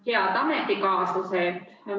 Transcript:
Head ametikaaslased!